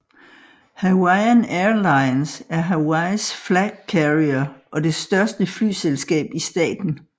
Hawaiian Airlines er Hawaiis flag carrier og det største flyselskab i staten